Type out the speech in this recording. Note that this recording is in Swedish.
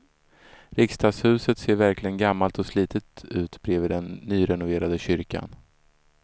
Riksdagshuset ser verkligen gammalt och slitet ut bredvid den nyrenoverade kyrkan.